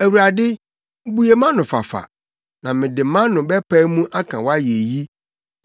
Awurade, bue mʼano fafa, na mede mʼano bɛpae mu aka wʼayeyi.